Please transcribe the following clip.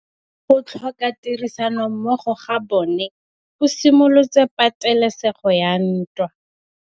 Go tlhoka tirsanommogo ga bone go simolotse patêlêsêgô ya ntwa.